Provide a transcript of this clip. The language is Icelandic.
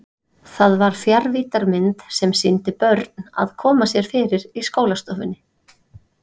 Það var fjarvíddarmynd sem sýndi börn að koma sér fyrir í skólastofunni.